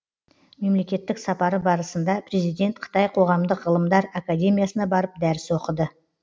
мемлекеттік сапары барысында президент қытай қоғамдық ғылымдар академиясына барып дәріс оқыды